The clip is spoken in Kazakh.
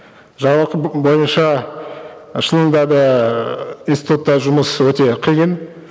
жалақы бойынша шынында да ііі институтта жұмыс өте қиын